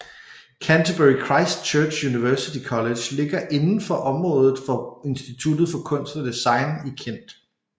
Canterbury Christ Church University College ligger inden for området for Instituttet for Kunst og Design i Kent